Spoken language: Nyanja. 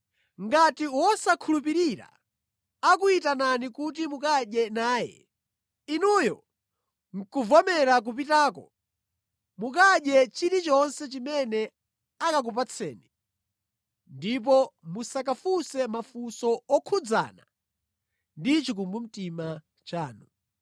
Ngati wosakhulupirira akuyitanani kuti mukadye naye, inuyo ndi kuvomera kupitako, mukadye chilichonse chimene akakupatseni ndipo musakafunse mafunso okhudzana ndi chikumbumtima chanu.